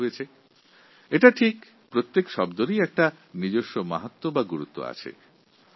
একথা ঠিকই যে শব্দের একটা বিশেষ মাহাত্ম্য আছে